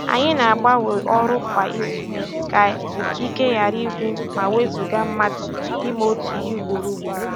Anyị na-agbanwe ọrụ kwa izu ka ike ghara ịgwụ ma wezuga mmadụ ime otu ihe ugboro ugboro